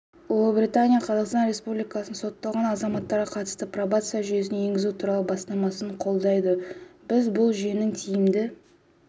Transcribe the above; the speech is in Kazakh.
ұлыбритания қазақстан республикасының сотталған азаматтарға қатысты пробация жүйесін енгізу туралы бастамасын қолдайды біз бұл жүйенің тиімді